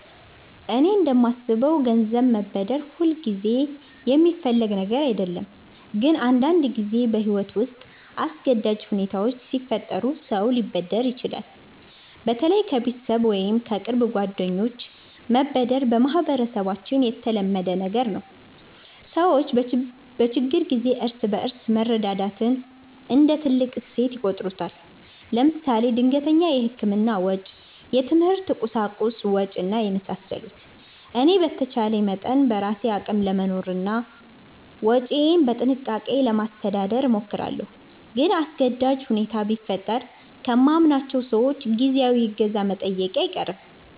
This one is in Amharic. እኔ እንደማስበው ገንዘብ መበደር ሁልጊዜ የሚፈለግ ነገር አይደለም፣ ግን አንዳንድ ጊዜ በሕይወት ውስጥ አስገዳጅ ሁኔታዎች ሲፈጠሩ ሰው ሊበደር ይችላል። በተለይ ከቤተሰብ ወይም ከቅርብ ጓደኞች መበደር በማህበረሰባችን የተለመደ ነገር ነው። ሰዎች በችግር ጊዜ እርስ በርስ መረዳዳትን እንደ ትልቅ እሴት ይቆጥሩታል። ለምሳሌ ድንገተኛ የሕክምና ወጪ፣ የትምህርት ቁሳቁስ ወጭ እና የመሳሰሉት። እኔ በተቻለ መጠን በራሴ አቅም ለመኖርና ወጪዬን በጥንቃቄ ለማስተዳደር እሞክራለሁ። ግን አስገዳጅ ሁኔታ ቢፈጠር ከማምናቸው ሰዎች ጊዜያዊ እገዛ መጠየቄ አይቀርም